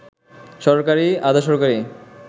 সরকারি, আধা-সরকারি